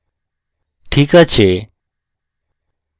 ঠিক আছে